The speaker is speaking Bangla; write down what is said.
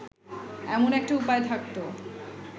এমন একটা উপায় থাকত